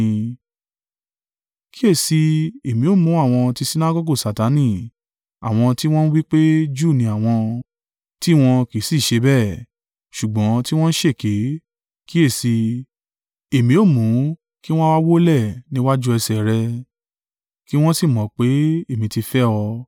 Kíyèsi i, èmi ó mú àwọn ti Sinagọgu Satani, àwọn tí wọ́n ń wí pé Júù ni àwọn, tí wọn kì í sì ṣe bẹ́ẹ̀, ṣùgbọ́n tí wọn ń ṣèké; kíyèsi i, èmi ó mú kí wọn wá wólẹ̀ níwájú ẹsẹ̀ rẹ̀, kí wọn sì mọ̀ pé èmi tí fẹ́ ọ.